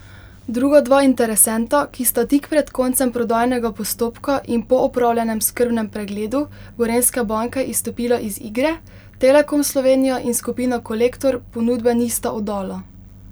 Druga dva interesenta, ki sta tik pred koncem prodajnega postopka in po opravljenem skrbnem pregledu Gorenjske banke izstopila iz igre, Telekom Slovenija in Skupina Kolektor, ponudbe nista oddala.